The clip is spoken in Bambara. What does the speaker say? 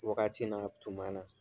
Wagati na tuma na